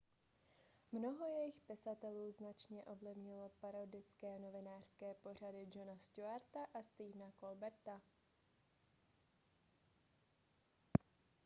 mnoho jejich pisatelů značně ovlivnilo parodické novinářské pořady jona stewarta a stephena colberta